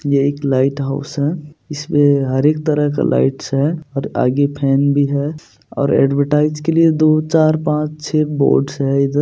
ये एक lighthouse है इसमें हर एक तरह का लाइट्स है और आगे फैन भी है और एडवरटाइज के लिए दो चार पांच छ बोर्ड्स है इधर--